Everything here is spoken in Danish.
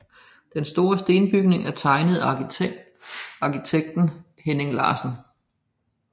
Den store stenbygning er tegnet af arkitekten Henning Larsen